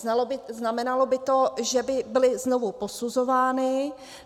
Znamenalo by to, že by byly znovu posuzovány.